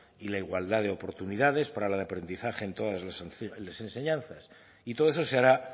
y la igualdad de oportunidades para el aprendizaje en todas las enseñanzas y todo eso se hará